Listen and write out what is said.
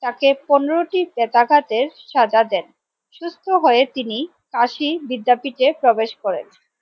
তাকে পনেরো টি বেত্রাঘাতে সাজা দেন সুস্থ হয়ে তিনি কাশি বিদ্যাপীঠে প্রবেশ করেন।